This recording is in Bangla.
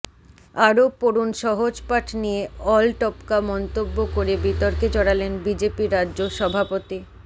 আরও পড়ুন সহজপাঠ নিয়ে আলটপকা মন্তব্য করে বিতর্কে জড়ালেন বিজেপি রাজ্য সভাপতি